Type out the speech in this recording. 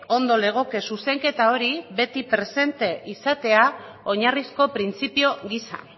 ondo legoke zuzenketa hori beti presente izatea oinarrizko printzipio gisa